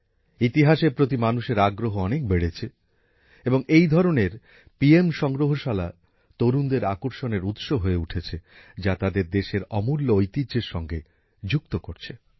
ইতিহাসের প্রতি মানুষের আগ্রহ অনেক বেড়েছে এবং পিএম সংগ্রহশালা তরুণদের আকর্ষণের উৎস হয়ে উঠেছে যা তাদের দেশের অমূল্য ঐতিহ্যের সঙ্গে যুক্ত করছে